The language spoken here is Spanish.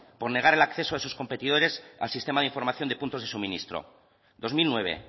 por negar el acceso a sus competidores al sistema de información de puntos de suministro dos mil nueve